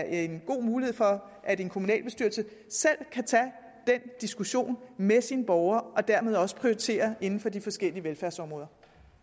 en god mulighed for at en kommunalbestyrelse selv kan tage den diskussion med sine borgere og dermed også prioritere inden for de forskellige velfærdsområder